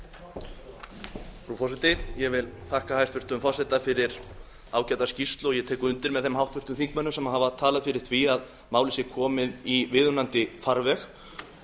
frú forseti ég þakka hæstvirtum forseta fyrir ágæta skýrslu og ég tek undir með þeim háttvirtum þingmönnum sem hafa talað fyrir því að málið sé komið í viðunandi farveg ég